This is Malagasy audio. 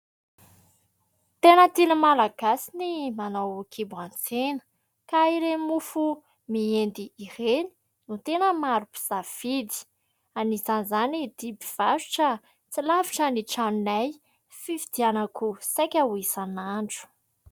tena tian'ny malagasy ny manao kibo an-tsena ka ireny mofo miendy ireny no tena maro-mpisafidy , anisanizany ity mpivarotra tsy lavitra ny tranonay fividianako saika ho isanandro.